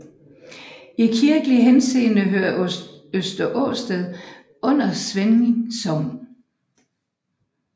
I kirkelig henseende hører Øster Ørsted under Svesing Sogn